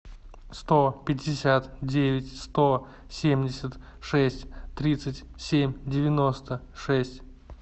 сто пятьдесят девять сто семьдесят шесть тридцать семь девяносто шесть